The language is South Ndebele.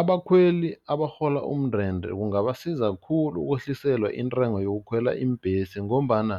Abakhweli abarhola umndende kungabasiza khulu ukwehliselwa intengo yokukhwela iimbhesi ngombana